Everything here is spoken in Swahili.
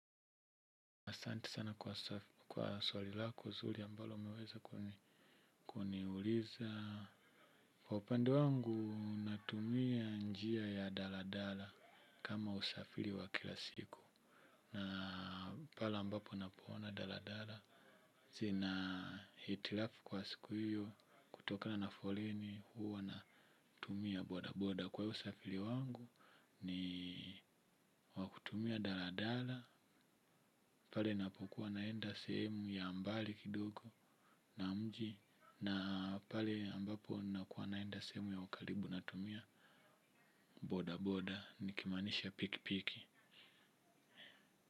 Asante sana kwa swali lako zuri ambalo umeweza kuniuliza. kWa upande wangu natumia njia ya daladala kama usafiri wa kila siku. Na pale ambapo napoona daladala zina hitilafu kwa siku hiyo kutoka na folini huo natumia bodaboda kwa usafiri wangu. Ni wakutumia daladala. Pale napokuwa naenda sehemu ya mbali kidogo na mji. Na pale ambapo nakuwa naenda sehemu ya karibu natumia bodaboda nikimanisha pikipiki.